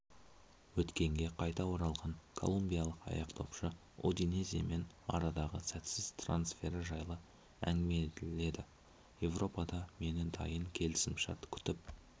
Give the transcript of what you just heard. өткенге қайта оралған колумбиялық аяқдопшы удинеземен арадағы сәтсіз трансфері жайлы әңгімеледі еуропада мені дайын келісімшарт күтіп